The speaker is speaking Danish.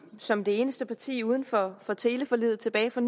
som det eneste parti uden for for teleforliget tilbage fra